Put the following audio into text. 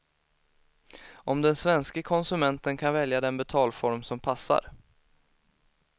Och den svenske konsumenten kan välja den betalform som passar.